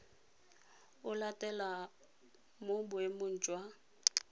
o latelang mo boemong jwa